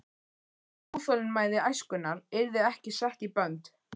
Óþolinmæði æskunnar yrði ekki sett í bönd.